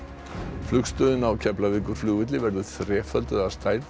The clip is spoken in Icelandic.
flugstöðin á Keflavíkurflugvelli verður þrefölduð að stærð